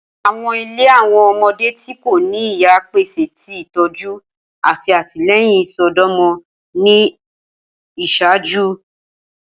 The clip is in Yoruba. Awọn ile Awọn ọmọde ti ko ni iya pese itọju ati atilẹyin isọdọmọ ni iṣaaju.